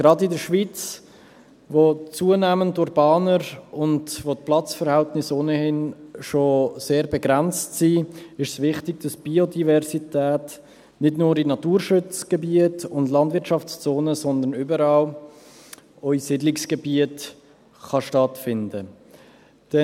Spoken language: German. Gerade in der Schweiz, die zunehmend urbaner wird und wo die Platzverhältnisse ohnehin schon sehr begrenzt sind, ist es wichtig, dass die Biodiversität nicht nur in Naturschutzgebieten und Landwirtschaftszonen, sondern überall, auch in Siedlungsgebieten, stattfinden kann.